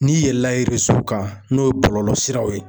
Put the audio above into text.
N'i yɛlɛla kan n'o ye bɔlɔlɔ siraw ye.